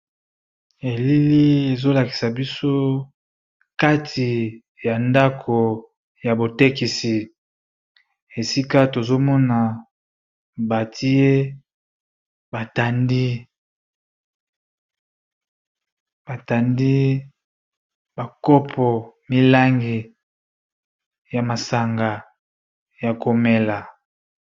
elili ezolakisa biso kati ya ndako ya botekisi esika tozomona batiye batandi bakopo milangi ya masanga ya komela